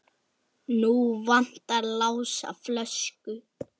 Nú vantar Lása flösku.